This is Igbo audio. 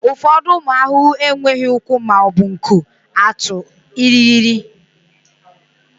ụfọdụ ụmụ ahụhụ enweghị ụkwụ ma ọ bụ nku atụ irighiri